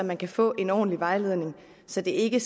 man kan få en ordentlig vejledning så det ikke